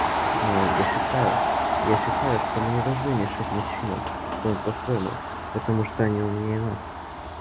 но я считаю я считаю что мы не должны мешать мужчинам думать по-своему потому что они умнее нас